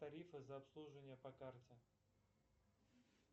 тарифы за обслуживание по карте